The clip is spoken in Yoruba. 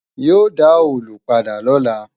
Yóò dá òòlù padà lọ́la